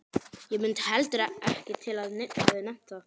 Og mundi heldur ekki til að neinn hefði nefnt það.